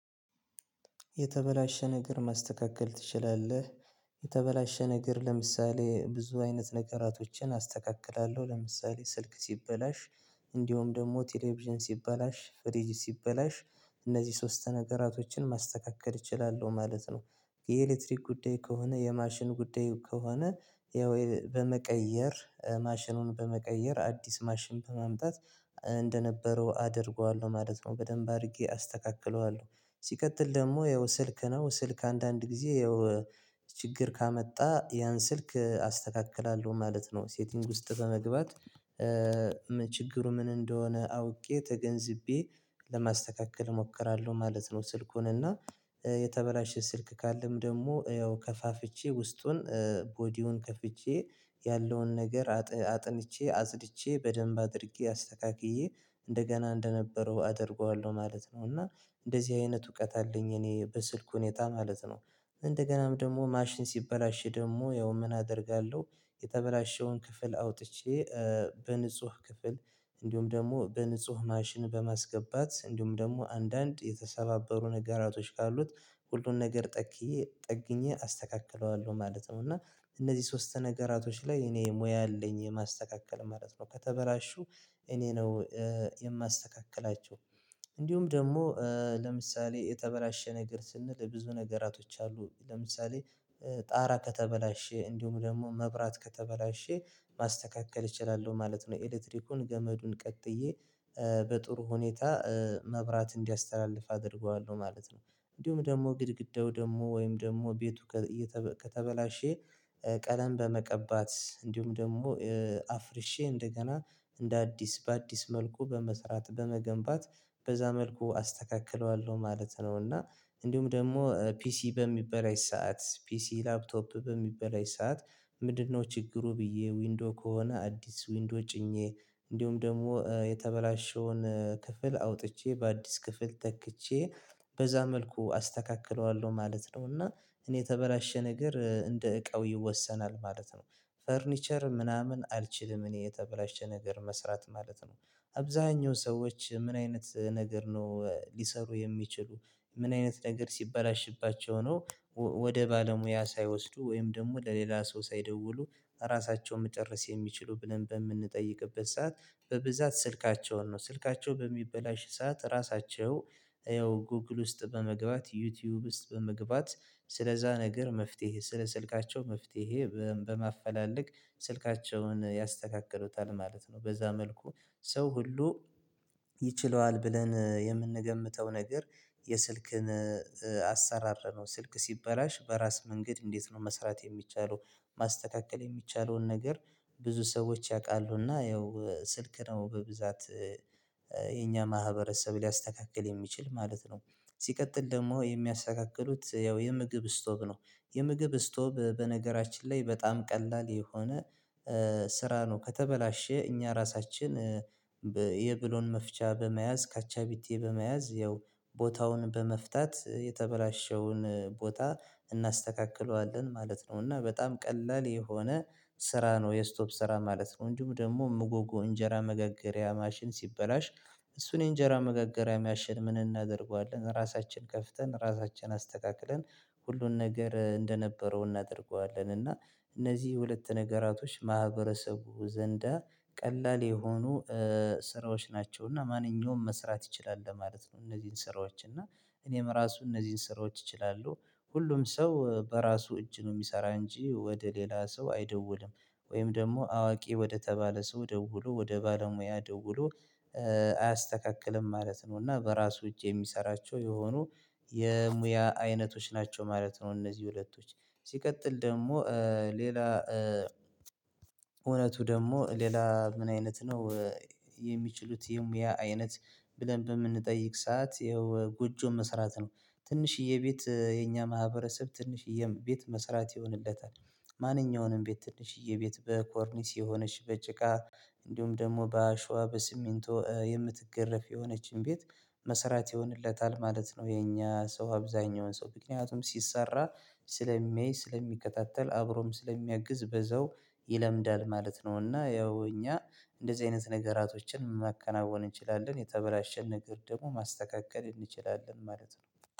የተበላሸ ነገር ማስተካከል ትችላለህ? የተበላሸ ነገር ለምሳሌ ብዙ አይነት ነገራቶችን አስተካክላለሁ ለምሳሌ ስልክ ሲበላሽ እንዲሁም ደግሞ ቴሌቪዥን ሲበላሽ ፍሪጅ ሲበላሽ እነዚህ ሶስት ነገራቶችን ማስተካከል እችላለሁ ማለት ነው። የኤሌክትሪክ ጉዳይ ከሆነ የማሽን ጉዳይ ከሆነ ያው በመቀየር ማሽኑን በመቀየር አዲስ ማሽን በማምጣት እንደነበረው አደርገዋለሁ ማለት ነው። በደንብ አድርጌ አስተካክለዋለሁ ሲቀጥል ደግሞ ያው ስልክ ነው ስልክ አንዳንድ ጊዜ ያው ችግር ካመጣ ያን ስልክ አስተካክላለሁ ማለት ነው። ሴቲንግ ውስጥ በመግባት ችግሩ ምን እንደሆነ አውቄ ተገንዝቤ ለማስተካከል እሞክራለሁ ማለት ነው። ስልኩን እና የተበላሸ ስልክ ካለም ደግሞ ያው ከፋፍቼ ውስጡን ቦዲውን ከፍቼ ያለውን ነገር አጥንቼ አጸድቼ በደንብ አድርጌ አስተካክዬ እንደገና እንደነበረው አደርገዋለሁ ማለት ነው። እና እንደዚህ አይነት እውቀት አለኝ እኔ በስልኩ ሁኔታ ማለት ነው። እንደገናም ደግሞ ማሽን ሲበላሽ ደግሞ ያው ምን አደርጋለሁ? የተበላሸውን ክፍል አውጥቼ በንጹህ ክፍል እንዲሁም ደግሞ በንጹህ ማሽን በማስገባት እንዲሁም ደግሞ አንዳንድ የተሰባበሩ ነጋራቶች ካሉት ሁሉን ነገር ጠግዬ ጠግኜ አስተካክለዋለሁ ማለት ነው። እና እነዚህ ሶስት ነገራቶች ላይ እኔ ሙያ አለኝ የማስተካከል ማለት ነው። ከተበላሹ እኔ ነው የማስተካክላቸው። እንዲሁም ደግሞ ለምሳሌ የተበላሸ ነገር ስንል ብዙ ነገራቶች አሉ ለምሳሌ ጣራ ከተበላሸ እንዲሁም ደግሞ መብራት ከተበላሸ ማስተካከል እችላለሁ ማለት ነው። ኤሌክትሪኩን ገመዱን ቀጥዬ በጥሩ ሁኔታ መብራት እንዲያስተላልፍ አደርገዋለሁ ማለት ነው። እንዲሁም ደግሞ ግድግዳው ደግሞ ወይም ደግሞ ቤቱ ከ የተ ከተበላሸ ቀለም በመቀባት እንዲሁም ደግሞ አፍርሼ እንደገና እንደ አዲስ በአዲስ መልኩ በመስራት በመገንባት በዛ መልኩ አስተካክለዋለሁ ማለት ነው። እና እንዲሁም ደግሞ ፒሲ በሚበላሽ ሰዓት ፒሲ ላፕቶፕ በሚበላሽ ሰዓት ምንድንነው? ችግሩ ብዬ ዊንዶ ከሆነ አዲስ ዊንዶ ጭኜ እንዲሁም ደግሞ የተበላሸውን ክፍል አውጥቼ በአዲስ ክፍል ተክቼ በዛ መልኩ አስተካክለዋለሁ ማለት ነው። እና እኔ የተበላሸ ነገር እንደ እቃው ይወሰናል ማለት ነው። ፈርኒቸር ምናምን አልችልም እኔ የተበላሸ ነገር መስራት ማለት ነው። አብዛኛው ሰዎች ምን አይነት ነገር ነው ሊሠሩ የሚችሉ ምን አይነት ነገር ሲባላሽባቸው ነው? ወደ ባለሙያ ሳይወስዱ ወይም ደግሞ ለሌላ ሰው ሳይደውሉ ራሳቸውን መጨረስ የሚችሉ ብለን በምንጠይቅበት ሰዓት። በብዛት ስልካቸውን ነው ስልካቸው በሚበላሽ ሰዓት ራሳቸው ያው ጎግል ውስጥ በመግባት ዩቲዩብ ውስጥ በመግባት ስለዛ ነገር መፍትሄ ስለ ስልካቸው መፍትሄ በማፈላለግ ስልካቸውን ያስተካክሉታል ማለት ነው። በዛ መልኩ ሰው ሁሉ ይችለዋል ብለን የምንገምተው ነገር። የስልክን አሰራር ነው ስልክ ሲበላሽ በራስ መንገድ እንዴት ነው መስራት የሚቻለው? ማስተካከል የሚቻለውን ነገር ብዙ ሰዎች ያውቃሉ እና ያው ስልክ ነው በብዛት የኛ ማህበረሰብ ሊያስተካክል የሚችል ማለት ነው። ሲቀጥል ደግሞ የሚያስተካክሉት ያው የምግብ ስቶቭ ነው። የምግብ ስቶቭ በነገራችን ላይ በጣም ቀላል የሆነ ስራ ነው ከተበላሸ እኛ ራሳችን። የብሎን መፍቻ በመያዝ ካቻቢቲ በመያዝ ያው ቦታውን በመፍታት የተበላሸውን ቦታ እናስተካክለዋለን ማለት ነው። እና በጣም ቀላል የሆነ ስራ ነው የስቶፕ ስራ ማለት ነው። እንዲሁም ደግሞ ምጎጎ እንጀራ መገገሪያ ማሽን ሲበላሽ። እሱን የእንጀራ መገገሪያ ማሽን ምን እናደርገዋለን ራሳችን ከፍተን ራሳችን አስተካክለን ሁሉን ነገር እንደነበረው እናደርገዋለን እና። እነዚህ ሁለት ነገራቶች ማህበረሰቡ ዘንዳ ቀላል የሆኑ ስራዎች ናቸው እና ማንኛውም መስራት ይችላል ለማለት ነው። እነዚህን ስራዎች እና እኔም ራሱ እነዚህን ስራዎች እችላለሁ ሁሉም ሰው በራሱ እጅ ነው የሚሰራ እንጂ ወደ ሌላ ሰው አይደውልም። ወይም ደግሞ አዋቂ ወደተባለ ሰው ደውሎ ወደ ባለሙያ ደውሎ አያስተካክልም ማለት ነው። እና በራሱ እጅ የሚሠራቸው የሆኑ የሙያ አይነቶች ናቸው ማለት ነው። እነዚህ ሁለቶች ሲቀጥል ደግሞ ሌላ እውነቱ ደግሞ ሌላ ምን አይነት ነው? የሚችሉት የሙያ አይነት ብለን በምንጠይቅ ሰዓት ይኸው ጎጆ መስራት ነው። ትንሽዬ ቤት የኛ ማህበረሰብ ትንሽዬ ቤት መስራት ይሆንለታል። ማንኛውንም ቤት ትንሽዬ ቤት በኮርኒስ የሆነች በጭቃ እንዲሁም ደግሞ በአሸዋ በሲሚንቶ የምትገረፍ የሆነችን ቤት መስራት ይሆንለታል ማለት ነው። የእኛ ሰው አብዛኛውን ሰው ምክንያቱም ሲሰራ ስለሚያይ ስለሚከታተል አብሮም ስለሚያግዝ በዛው ይለምዳል ማለት ነው። እና ያው እኛ እንደዚህ አይነት ነገራቶችን ማከናወን እንችላለን የተበላሸ ነገር ደግሞ ማስተካከል እንችላለን ማለት ነው።